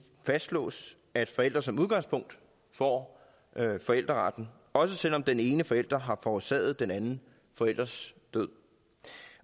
fastslås at forældre som udgangspunkt får forældreretten også selv om den ene forælder har forårsaget den anden forælders død